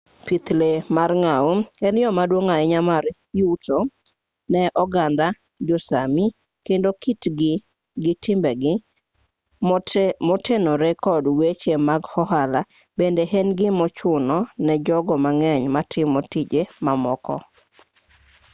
pith lee mar ngau en yo maduong' ahinya mar yuto ne oganda jo-sámi kendo kitgi gi timbegi motenore kod weche mag ohala bende en gimochuno ne jogo mang'eny matimo tije mamoko